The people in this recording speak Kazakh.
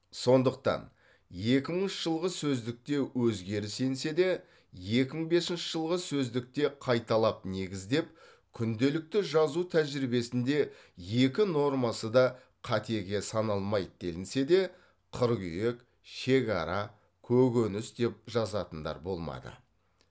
сондықтан екі мыңыншы жылғы сөздікте өзгеріс енсе де екі мың бесінші жылғы сөздікте қайталап негіздеп күнделікті жазу тәжірибесінде екі нормасы да қатеге саналмайды делінсе де қыргүйек шегара көгөніс деп жазатындар болмады